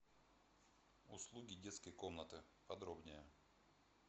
услуги детской комнаты подробнее